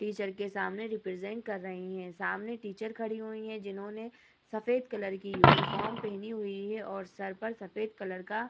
Teacher के सामने represent कर रहे हैं। सामने टीचर खड़ी हुईं हैं जिन्होंने सफेद कलर की यूनिफॉर्म पेहनी हुई है और सर पर सफेद कलर का --